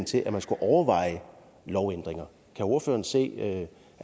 til at man skulle overveje lovændringer kan ordføreren se at